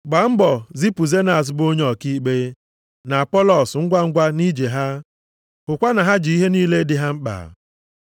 Gbaa mbọ zipụ Zenas bụ onye ọkaikpe, na Apọlọs, ngwangwa nʼije ha. Hụkwa na ha ji ihe niile dị ha mkpa.